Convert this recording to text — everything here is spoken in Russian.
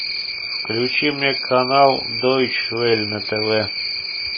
включи мне канал дойчвель на тв